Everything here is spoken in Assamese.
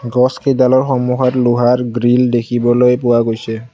গছ কেইডালৰ সন্মূখত লোহাৰ গ্ৰিল দেখিবলৈ পোৱা গৈছে।